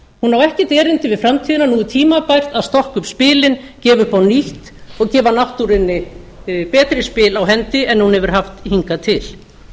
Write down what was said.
hún á ekkert erindi við framtíðina nú er tímabært að stokka upp spilin gefa upp á nýtt og gefa náttúrunni betri spil á hendi en hún hefur haft hingað til